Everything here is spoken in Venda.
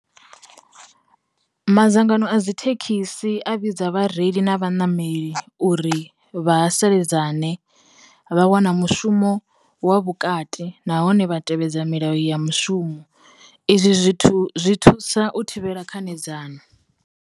Madzangano a dzi thekhisi a vhidza vhareili na vha nameli uri vha ha seledzane, vha wana mushumo wa vhukati nahone vha tevhedza milayo ya mushumo, izwi zwithu zwi thusa u thivhela khanedzano.